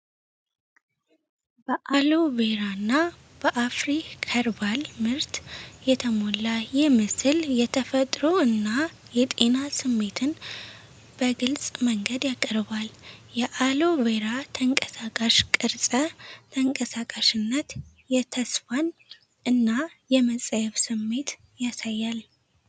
በአሎ ቬራ እና በአፍሪ ከርባል ምርት የተሞላ ይህ ምስል የተፈጥሮ እና የጤና ስሜትን በግልጽ መንገድ ያቀርባል። የአሎ ቬራ ተንቀሳቃሽ ቅርጸ ተንቀሳቃሽነት የተስፋን እና የመጸየፍ ስሜት ያሳያል።